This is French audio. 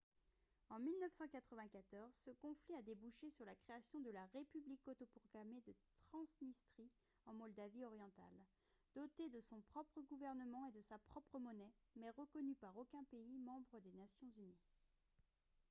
en 1994 ce conflit a débouché sur la création de la république autoproclamée de transnistrie en moldavie orientale dotée de son propre gouvernement et de sa propre monnaie mais reconnue par aucun pays membre des nations unies